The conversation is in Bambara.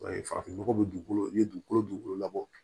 farafin nɔgɔ bɛ dugukolo i ye dugukolo dugukolo labɔ